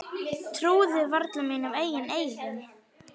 Trúði varla mínum eigin eyrum.